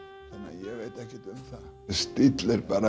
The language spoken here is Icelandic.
ég veit ekkert um það stíll er bara